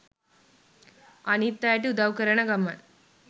අනිත් අයට උදව් කරන ගමන්